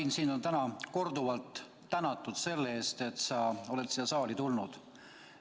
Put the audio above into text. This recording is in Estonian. Ain, sind on täna korduvalt tänatud selle eest, et sa oled siia saali tulnud.